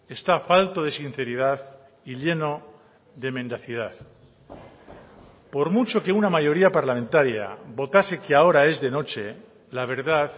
está falto de sinceridad y lleno de mendacidad por mucho que una mayoría parlamentaria votase que ahora es de noche la verdad